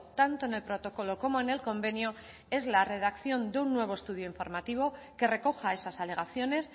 tanto en el protocolo como en el convenio es la redacción de un nuevo estudio informativo que recoja esas alegaciones